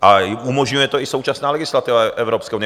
A umožňuje to i současná legislativa Evropské unie.